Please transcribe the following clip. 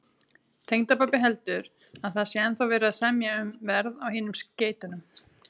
Tengdapabbi heldur, að það sé ennþá verið að semja um verð á hinum skeytunum